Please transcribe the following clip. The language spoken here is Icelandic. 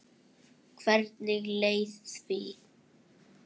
Hvernig leið því?